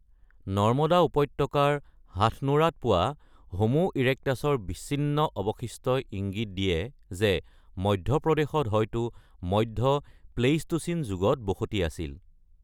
নৰ্মদা উপত্যকাৰ হাথনোৰাত পোৱা হোমো ইৰেক্টাছৰ বিচ্ছিন্ন অৱশিষ্টই ইংগিত দিয়ে যে মধ্যপ্ৰদেশত হয়তো মধ্য প্লেইষ্টোচিন যুগত বসতি আছিল।